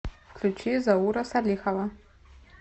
включи заура салихова